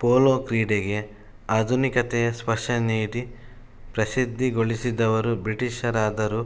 polo ಕ್ರೀಡೆಗೆ ಆಧುನಿಕತೆಯ ಸ್ಪರ್ಶ ನೀಡಿ ಪ್ರಸಿದ್ಧಗೊಳಿಸಿದವರು ಬ್ರಿಟೀಷರಾದರೂ